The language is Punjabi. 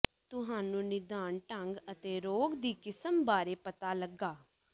ਤੁਹਾਨੂੰ ਨਿਦਾਨ ਢੰਗ ਅਤੇ ਰੋਗ ਦੀ ਕਿਸਮ ਬਾਰੇ ਪਤਾ ਲੱਗਾ